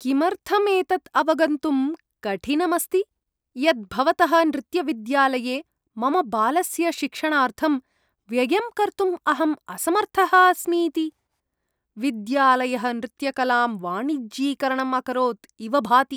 किमर्थं एतत् अवगन्तुं कठिनम् अस्ति यत् भवतः नृत्यविद्यालये मम बालस्य शिक्षणार्थं व्ययं कर्तुम् अहं असमर्थः अस्मि इति? विद्यालयः नृत्यकलां वाणिज्यीकरणम् अकरोत् इव भाति।